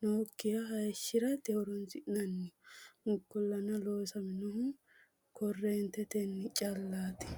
noyikiha hayishate horoonsi'nanni. ikkolana loosannohuno korreentete callati.